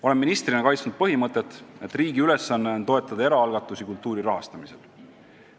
Olen ministrina kaitsnud põhimõtet, et riigi ülesanne on toetada eraalgatusi kultuuri rahastamisel.